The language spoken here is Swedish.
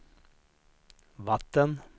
vatten